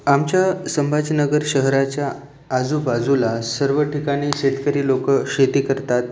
आमच्या संभाजीनगर शहराच्या आजूबाजूला सर्व ठिकाणी शेतकरी लोक शेती करतात.